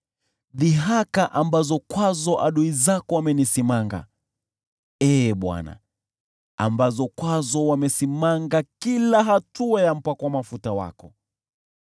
dhihaka ambazo kwazo adui zako wamenisimanga, Ee Bwana , ambazo kwazo wamesimanga kila hatua ya mpakwa mafuta wako.